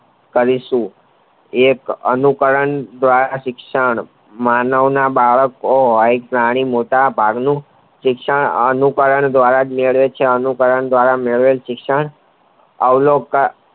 કરીશુ એ એનું કારણ દ્વારા શિક્ષણ માનવના બાળકો હોય પ્રાણી મોટા ભાગનું શિક્ષણ એનું કારણ દ્વારા જ મેળવે છે અને આવલોકતાં